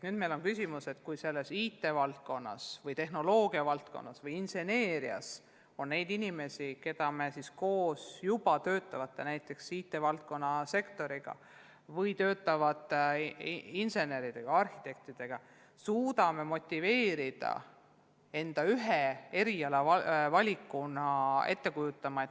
Nüüd on küsimus, kuidas neid inimesi, kes õpivad või juba töötavad IT-, tehnoloogia- või inseneeriavaldkonnas, motiveerida ühe erialavalikuna ette kujutama õpetajatööd.